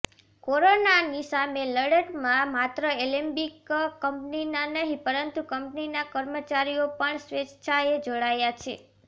corona સામેની લડતમાં માત્ર એલેમ્બિક કંપની નહી પરંતુ કંપનીના કર્મચાર્રીઓ પણ સ્વેચ્છાએ જોડાયા છે